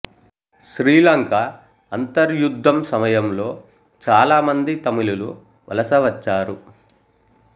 శ్రీలంక అంతర్యుద్ధం సమయంలో చాలా మంది తమిళులు వలస వచ్చారు